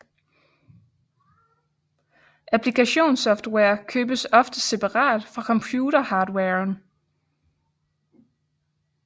Applikationssoftware købes ofte separat fra computerhardwaren